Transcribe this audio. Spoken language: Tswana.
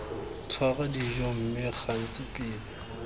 tshwara dijo mme gantsi pele